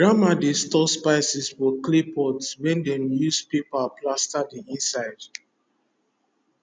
grandma dey store spice for clay pot wey dem use paper plaster the inside